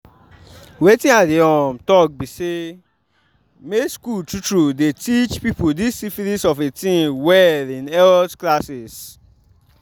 wetin i dey um talk be say make school true true the teache people this syphilis of a thing well in health classes